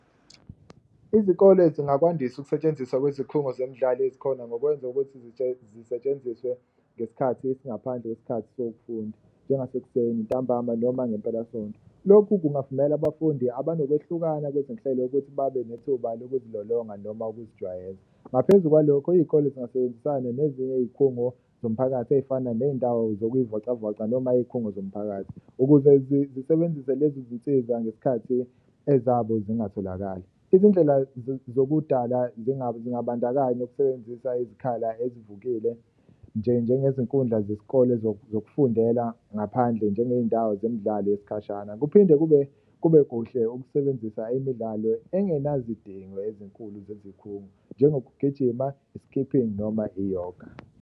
Izikole zingakwandisa ukusetshenziswa kwezikhungo zemidlalo ezikhona ngokwenza ukuthi zisetshenziswe ngesikhathi esingaphandle kwesikhathi sokufunda, njengasekuseni, ntambama noma ngempelasonto. Lokhu kungavumela abafundi abanokwehlukana kwezinhlelo ukuthi babe nethuba lokuzilolonga noma lokuzijwayeza, ngaphezu kwalokho iy'kole zingasebenzisani nezinye iy'khungo zomphakathi ey'fana ney'ndawo zokuyivocavoca noma iy'khungo zomphakathi. Ukuze zisebenzise lezi zinsiza ngesikhathi ezabo zingatholakala izindlela zokudlala zingabandakanya ukusebenzisa izikhala ezivukile njengezinkundla zesikole zokufundela ngaphandle njengey'ndawo zemidlalo yesikhashana. Kuphinde kube kuhle ukusebenzisa imidlalo engenazidingo ezinkulu zezikhungo njengokugijima, i-skipping noma iyoga.